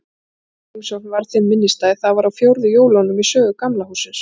Ein slík heimsókn varð þeim minnisstæð: Það var á fjórðu jólunum í sögu Gamla hússins.